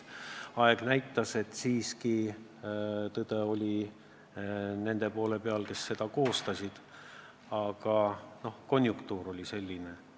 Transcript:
Aeg näitas, et tõde oli siiski nende poole peal, kes selle koostasid, aga konjunktuur oli selline.